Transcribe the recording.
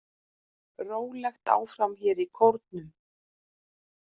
Rólegt áfram hér í Kórnum.